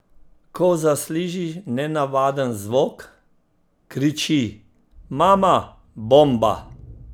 Ko zasliši nenavaden zvok, kriči: 'Mama, bomba'.